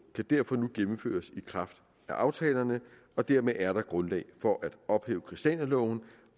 kan derfor nu gennemføres i kraft af aftalerne og dermed er der grundlag for at ophæve christianialoven